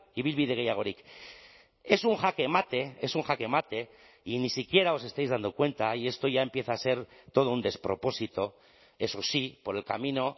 ibilbide gehiagorik es un jaque mate es un jaque mate y ni siquiera os estáis dando cuenta y esto ya empieza a ser todo un despropósito eso sí por el camino